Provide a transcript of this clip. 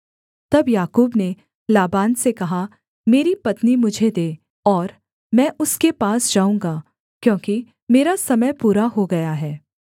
तब याकूब ने लाबान से कहा मेरी पत्नी मुझे दे और मैं उसके पास जाऊँगा क्योंकि मेरा समय पूरा हो गया है